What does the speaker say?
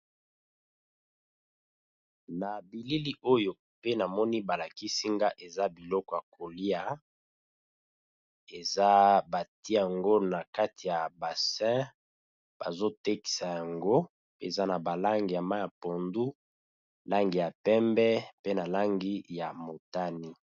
Na bilili oyo pe na moni ba lakisi nga, eza biloko ya kolia. Eza ba tié yango na kati ya bassin, bazo tekisa yango. Eza na ba langi ya mayi ya pondu, langi ya pembe pe na langi ya motane.